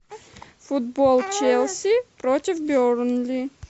футбол челси против бернли